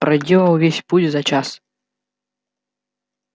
проделал весь путь за час